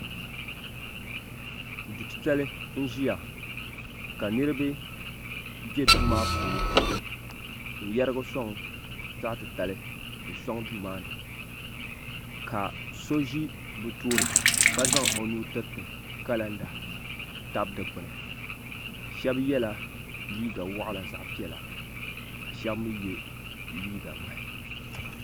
du' titali n-ʒiya ka niriba be duu maa puuni n-yarigi sɔŋ zaɣ' titali n-sɔŋ duu maa ni ka so ʒi bɛ tooni ka zaŋ o nuu tiriti kalanda tabi dukpuni shɛba yela liiga waɣila zaɣ' piɛla ka shɛba mi ye liiga ŋmahi.